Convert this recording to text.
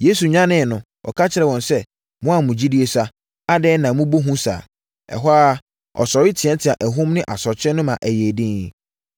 Yesu nyaneeɛ no, ɔka kyerɛɛ wɔn sɛ, “Mo a mo gyidie sua, adɛn na moabɔ hu saa?” Ɛhɔ ara, ɔsɔre teateaa ahum ne asorɔkye no ma ɛyɛɛ dinn.